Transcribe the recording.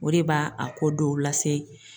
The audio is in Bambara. O de b'a a ko dɔw lase